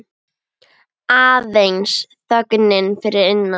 Aðeins þögnin fyrir innan.